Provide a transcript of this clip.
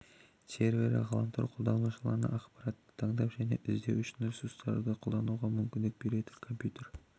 сервері ғаламтор қолданушыларына ақпаратты таңдап және іздеу үшін ресурстарын қолдануға мүмкіндік беретін компьютер